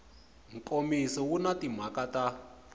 nkomiso wu na timhaka ta